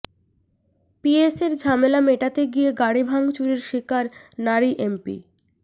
পিএসের ঝামেলা মেটাতে গিয়ে গাড়ি ভাঙচুরের শিকার নারী এমপি